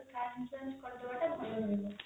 car insurance ଟା କରି ଦବା ଟା ଭଲ ରହିବ